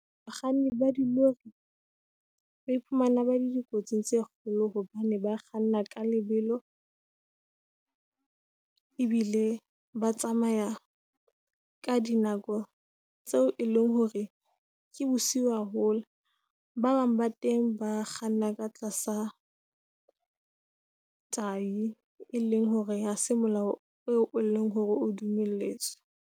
Bakganni ba dilori ba iphumana ba le dikotsing tse kgolo. Hobane ba kganna ka lebelo , ebile ba tsamaya ka dinako tseo e leng hore ke bosiu haholo. Ba bang ba teng ba kganna ka tlasa tai, e leng hore ha se molao eo leng hore o dumelletswe.